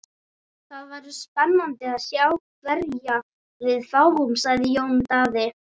Það verður spennandi að sjá hverja við fáum, sagði Jón Daði.